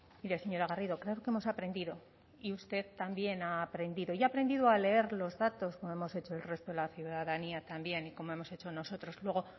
mire señora garrido creo que hemos aprendido y usted también ha aprendido y ha aprendido a leer los datos como hemos hecho el resto de la ciudadanía también y como hemos hecho nosotros luego